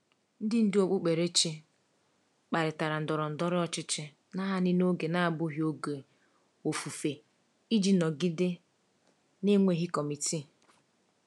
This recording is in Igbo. Ndị ndú okpukperechi kparịtara ndọrọ ndọrọ ọchịchị naanị n’oge na-abụghị oge ofufe iji nọgide na-enweghị kọmitii.